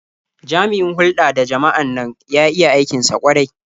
Jami'in hulɗa da jama'an nan ya iya aikin sa ƙwarai.